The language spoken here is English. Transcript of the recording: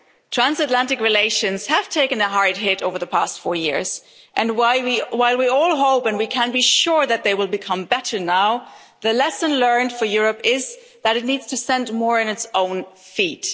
Transatlantic relations have taken a hard hit over the past four years, and while we all hope and we can be sure that they will become better now, the lesson learned for Europe is that it needs to stand more on its own two feet.